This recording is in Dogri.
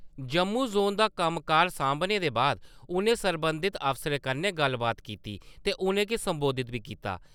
जम्मू जोन दा कम्मकाज साम्भने परैंत उ`नें सरबंधत अफसरें कन्ने गल्लबात कीती ते उ`नेंगी संबोधित बी कीता।